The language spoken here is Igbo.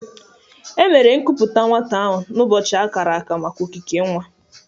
Emere nkuputa nwata ahụ n'ụbọchị akara aka maka okike nwa.